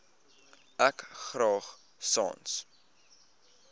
ek graag sans